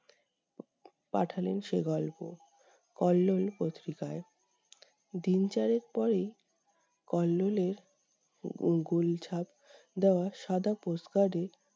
পাঠালেন সে গল্প কল্লোল পত্রিকায়, দিন চারেক পরেই কল্লোলের উম গুল ছাপ দেওয়া সাদা post card এ